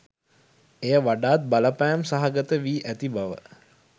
එය වඩාත් බලපෑම් සහගත වී ඇති බව